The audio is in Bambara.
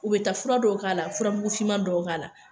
U bɛ taa fura dɔw k'a la, furamugufinma dɔw k'a la.